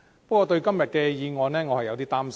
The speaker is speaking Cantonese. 不過，對於今天的議案，我有點擔心。